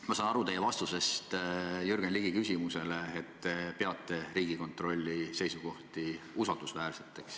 Ma saan teie vastusest Jürgen Ligi küsimusele aru, et te peate Riigikontrolli seisukohti usaldusväärseteks.